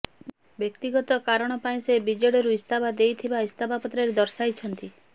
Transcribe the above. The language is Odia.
ବ୍ୟକ୍ତିଗତ କାରଣ ପାଇଁ ସେ ବିଜେଡିରୁ ଇସ୍ତଫା ଦେଇଥିବା ଇସ୍ତଫାପତ୍ରରେ ଦର୍ଶାଇଛନ୍ତି